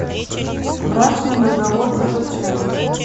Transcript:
брачный договор закачай